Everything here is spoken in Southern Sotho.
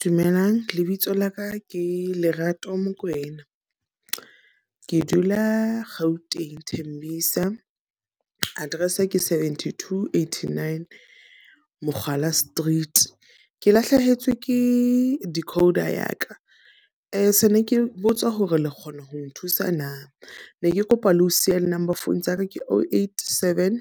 Dumelang lebitso laka ke Lerato Mokwena. Ke dula Gauteng Thembisa. Address ke seventy-two, eighty-nine Mokgala street. Ke lahlehetswe ke decoder ya ka, e sa le ke botsa hore le kgona ho nthusa na? Ne ke kopa le ho siya di-number phone tsa ka ke, o, eight, seven,